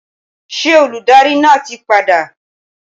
Ṣé olùdarí náà ti padà?